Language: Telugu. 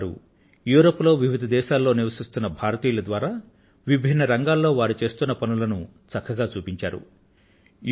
అందులో వారు యూరోప్ లో వివిధ దేశాలలో నివసిస్తున్న భారతీయుల ద్వారా విభిన్న రంగాలలో వారు చేస్తున్న పనులను మంచిగా చూపించారు